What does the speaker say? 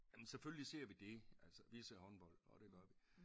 Jamen selvfølgelig ser vi det altså vi ser håndbold og det gør vi